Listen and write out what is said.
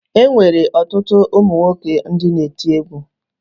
E nwere ọtụtụ ụmụ nwoke ndị na-eti egwu